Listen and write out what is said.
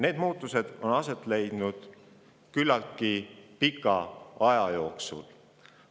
Need muutused on aset leidnud küllaltki pika aja jooksul.